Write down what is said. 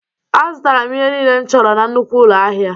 Azụtara m ihe niile m chọrọ na nnukwu ụlọ ahịa